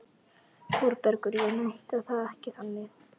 ÞÓRBERGUR: Ég meinti það ekki þannig.